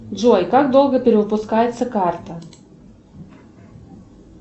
джой как долго перевыпускается карта